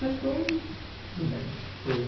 Mas depois, tudo bem, foi.